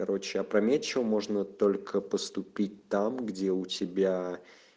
короче опрометчиво можно только поступить там где у тебя